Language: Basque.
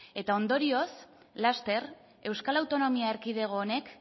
eta ondorioz laster euskal autonomia erkidego honek